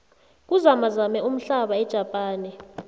kuzamazame umhlaba ejapane